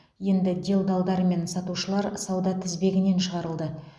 енді делдалдар мен сатушылар сауда тізбегінен шығарылды